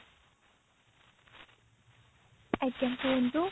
ଆଜ୍ଞା କୁହନ୍ତୁ